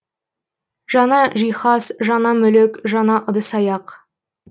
жаңа жиһаз жаңа мүлік жаңа ыдыс аяқ